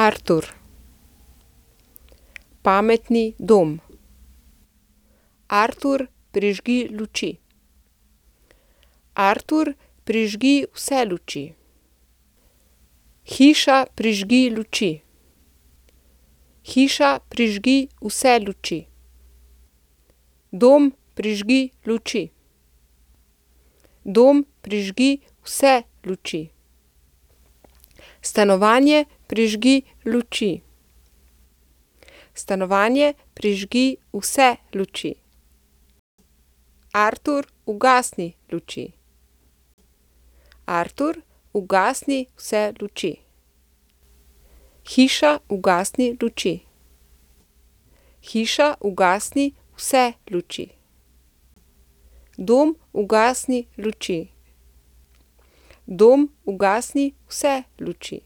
Artur. Pametni dom. Artur, prižgi luči. Artur, prižgi vse luči. Hiša, prižgi luči. Hiša, prižgi vse luči. Dom, prižgi luči. Dom, prižgi vse luči. Stanovanje, prižgi luči. Stanovanje, prižgi vse luči. Artur, ugasni luči. Artur, ugasni vse luči. Hiša, ugasni luči. Hiša, ugasni vse luči. Dom, ugasni luči. Dom, ugasni vse luči.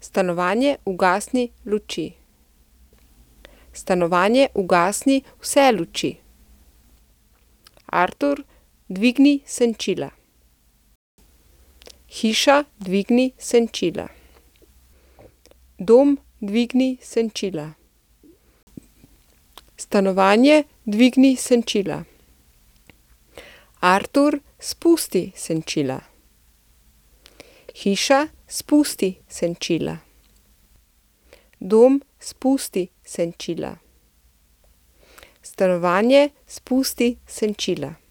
Stanovanje, ugasni luči. Stanovanje, ugasni vse luči. Artur, dvigni senčila. Hiša, dvigni senčila. Dom, dvigni senčila. Stanovanje, dvigni senčila. Artur, spusti senčila. Hiša, spusti senčila. Dom, spusti senčila. Stanovanje, spusti senčila.